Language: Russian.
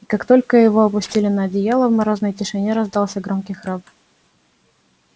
и как только его опустили на одеяло в морозной тишине раздался громкий храп